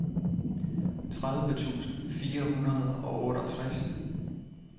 tredive tusind fire hundrede og otteogtres